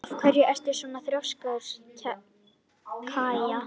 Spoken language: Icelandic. Af hverju ertu svona þrjóskur, Kaja?